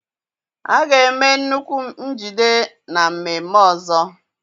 A ga-eme nnukwu njide na mmemme ọzọ